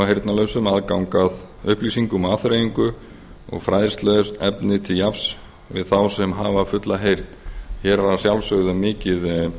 heyrnarlausum aðgang að upplýsingum og afþreyingar og fræðsluefni til jafns við þá sem hafa fulla heyrn hér er að sjálfsögðu um